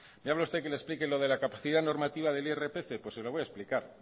me habla usted que le explique lo de la capacidad normativa del irpf pues se lo voy a explicar